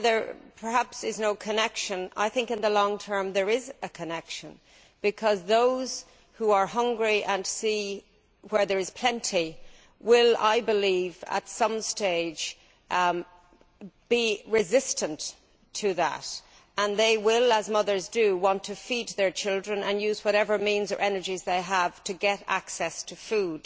While there is perhaps no connection, I think there is a connection in the long term because those who are hungry and see where there is plenty will, I believe, at some stage come to resent that and they will, as mothers do, want to feed their children and use whatever means or energies they have to get access to food.